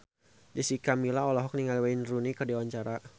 Jessica Milla olohok ningali Wayne Rooney keur diwawancara